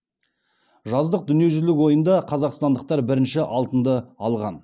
жаздық дүниежүзілік ойында қазақстандықтар бірінші алтынды алған